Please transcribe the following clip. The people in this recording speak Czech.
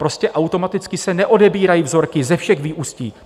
Prostě automaticky se neodebírají vzorky ze všech vyústí.